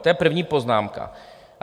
To je první poznámka.